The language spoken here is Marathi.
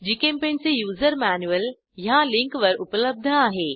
जीचेम्पेंट चे युजर मॅन्युअल httpgchemutilsnongnuorgpaintmanualindexhtml ह्या लिंकवर उपलब्ध आहे